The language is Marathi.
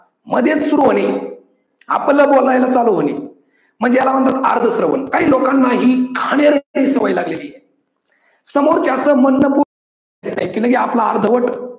मध्येच सुरू होणे आपलं बोलायला चालू होणे म्हणजे याला बोलतात अर्धश्रवण काही लोकांना ही घाणेरडी सवय लागलेली आहे. समोरच्याचं मदन बोलण्याची लगेच आपलं अर्धवट